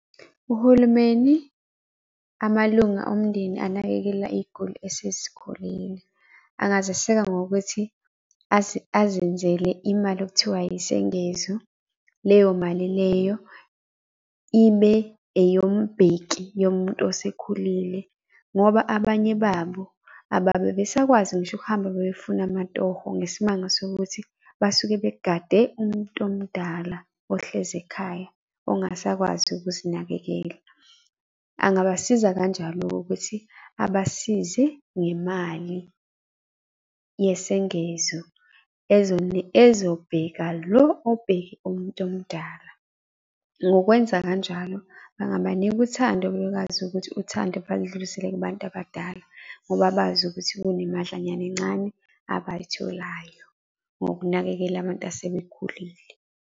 Uhulumeni, amalunga omndeni anakekela iy'guli esezikhulile, angaziseka ngokuthi azenzele imali okuthiwa yisengezo. Leyo mali leyo ibe eyombheki yomuntu osekhulile ngoba, abanye babo ababe besakwazi ngisho ukuhamba befuna amatoho, ngesimanga sokuthi basuke begade umuntu omdala ohlezi ekhaya ongasakwazi ukuzinakekela. Angabasiza kanjalo-ke ukuthi abasize ngemali yesengezo ezobheka lo obheke umuntu omdala. Ngokwenza kanjalo angabanika uthando bekwazi ukuthi uthando baludlulisele kubantu abadala, ngoba bazi ukuthi kunemadlanyana encane abayitholayo ngokunakekela abantu asebekhulile.